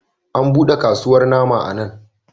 An buɗe kasuwar nama a nan.